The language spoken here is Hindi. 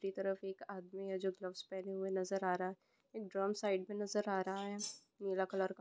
दूसरी तरफ एक आदमी है जो ग्लाफस् पहने हुई नजर आरा ड्रम साईडमे नजर आरहा है नीला कलर का।